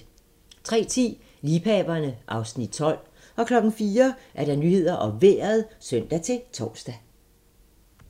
03:10: Liebhaverne (Afs. 12) 04:00: Nyhederne og Vejret (søn-tor)